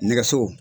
Nɛgɛso